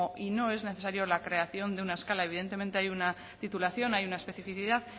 y no es necesario la creación de una escala evidentemente hay una titulación hay una especificidad